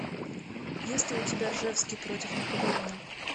есть ли у тебя ржевский против наполеона